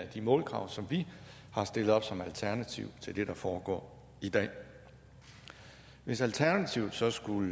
de målkrav som vi har stillet op som alternativ til det der foregår i dag hvis alternativet så skulle